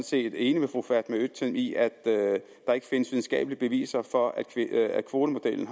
set enig med fru fatma øktem i at der ikke findes videnskabelige beviser for at kvotemodellen